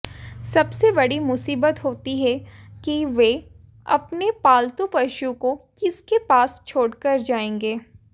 सबसे बड़ी मुसीबत होती है कि वे अपने पालतू पशु को किसके पास छोड़कर जाएंगे